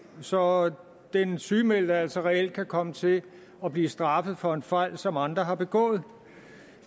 så den sygemeldte kan altså reelt komme til at blive straffet for en fejl som andre begået